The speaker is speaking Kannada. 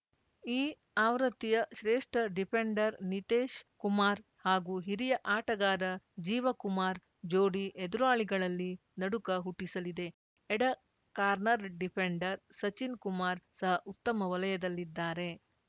ಈ ಆವೃತ್ತಿಯ ಶ್ರೇಷ್ಠ ಡಿಫೆಂಡರ್‌ ನಿತೇಶ್‌ ಕುಮಾರ್‌ ಹಾಗೂ ಹಿರಿಯ ಆಟಗಾರ ಜೀವ ಕುಮಾರ್‌ ಜೋಡಿ ಎದುರಾಳಿಗಳಲ್ಲಿ ನಡುಕ ಹುಟ್ಟಿಸಲಿದೆ ಎಡ ಕಾರ್ನರ್‌ ಡಿಫೆಂಡರ್‌ ಸಚಿನ್‌ ಕುಮಾರ್‌ ಸಹ ಉತ್ತಮ ವಲಯದಲ್ಲಿದ್ದಾರೆ